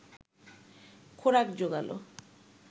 খোরাক জোগাল